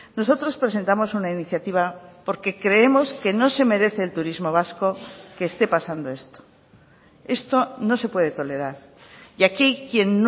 nosotros presentamos una iniciativa porque creemos que no se merece el turismo vasco que esté pasando esto esto no se puede tolerar y aquí quien